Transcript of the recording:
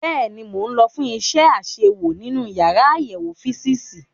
Bẹ́ẹ̀ni, mo lọ fún iṣẹ́ àṣewò nínú yàrá àyẹ̀wò físììsì.